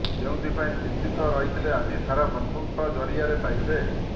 ଯେଉଁଥିପାଇଁ ଚିନ୍ତିତ ରହିଥିଲେ ଆଜି ତାହା ବନ୍ଧୁଙ୍କ ଜରିଆରେ ପାଇବେ